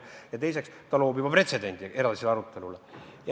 Teiseks, ta loob edasise arutelu jaoks pretsedendi.